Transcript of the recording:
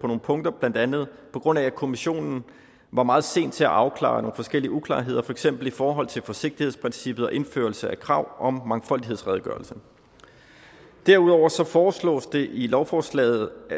på nogle punkter blandt andet på grund af at kommissionen var meget sen til at afklare nogle forskellige uklarheder for eksempel i forhold til forsigtighedsprincippet og indførelse af krav om mangfoldighedsredegørelser derudover foreslås det i lovforslaget